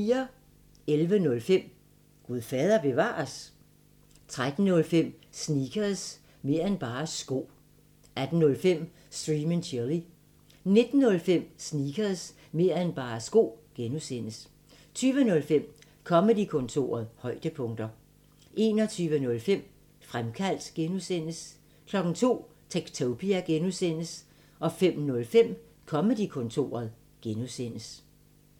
11:05: Gud fader bevares? 13:05: Sneakers – mer' end bare sko 18:05: Stream & Chill 19:05: Sneakers – mer' end bare sko (G) 20:05: Comedy-kontoret højdepunkter 21:05: Fremkaldt (G) 02:00: Techtopia (G) 05:05: Comedy-kontoret (G)